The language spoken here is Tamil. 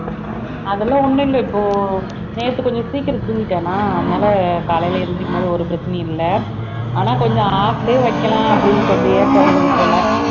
அதெல்லாம் ஒண்ணும் இல்லை இப்போ நேத்து கொஞ்சம் சீக்கிரம் தூங்கிட்டேன்னா அதனால காலையில எழுந்திருக்கும் போது ஒரு பிரச்சனையும் இல்லை ஆனா கொஞ்சம் half day வைக்கலாம் அப்படின்னு கொஞ்சம் ஏக்கம் இருந்தது போல